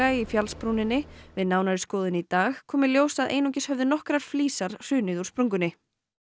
í fjallsbrúninni við nánari skoðun í dag kom í ljós að einungis höfðu nokkrar flísar hrunið úr sprungunni